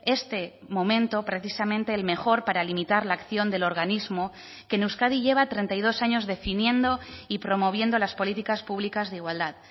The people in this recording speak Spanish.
este momento precisamente el mejor para limitar la acción del organismo que en euskadi lleva treinta y dos años definiendo y promoviendo las políticas públicas de igualdad